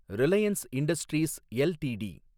Reliance Industries LTD